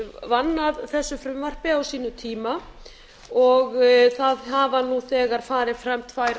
vann að þessu frumvarpi á sínum tíma og það hafa nú þegar farið fram tvær